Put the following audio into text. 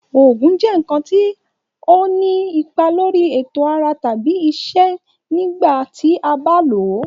Òògùn jẹ nkan kan ti o ni ipa lori eto ara tabi iṣẹ nigba ti a ba lo.